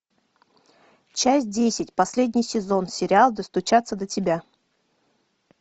часть десять последний сезон сериал достучаться до тебя